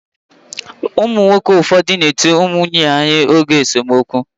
Umu nwoke ufofu na eti nwunye ha ihe oge esomokwu.